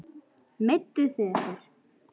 Meidduð þið ykkur?